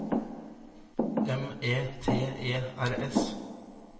M E T E R S